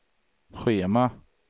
schema